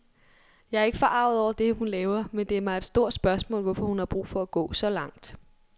Jeg er ikke forarget over det, hun laver, men det er mig et stort spørgsmål, hvorfor hun har brug for at gå så langt.